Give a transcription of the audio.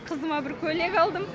қызыма бір көйлек алдым